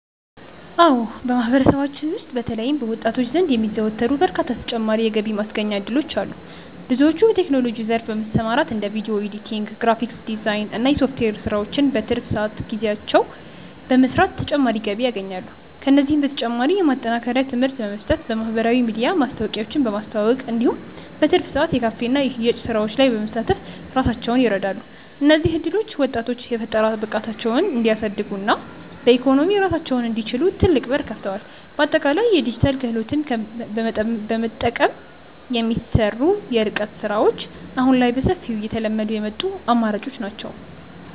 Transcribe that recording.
አዎ በማህበረሰባችን ውስጥ በተለይም በወጣቶች ዘንድ የሚዘወተሩ በርካታ ተጨማሪ የገቢ ማስገኛ እድሎች አሉ። ብዙዎች በቴክኖሎጂው ዘርፍ በመሰማራት እንደ ቪዲዮ ኤዲቲንግ፣ ግራፊክስ ዲዛይን እና የሶፍትዌር ስራዎችን በትርፍ ጊዜያቸው በመስራት ተጨማሪ ገቢ ያገኛሉ። ከእነዚህም በተጨማሪ የማጠናከሪያ ትምህርት በመስጠት፣ በማህበራዊ ሚዲያ ማስታወቂያዎችን በማስተዋወቅ እንዲሁም በትርፍ ሰዓት የካፌና የሽያጭ ስራዎች ላይ በመሳተፍ ራሳቸውን ይረዳሉ። እነዚህ እድሎች ወጣቶች የፈጠራ ብቃታቸውን እንዲያሳድጉና በኢኮኖሚ ራሳቸውን እንዲችሉ ትልቅ በር ከፍተዋል። በአጠቃላይ የዲጂታል ክህሎትን በመጠቀም የሚሰሩ የርቀት ስራዎች አሁን ላይ በሰፊው እየተለመዱ የመጡ አማራጮች ናቸው።